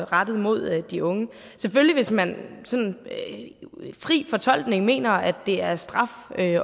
rettet mod de unge hvis man i fri fortolkning mener at det er en straf at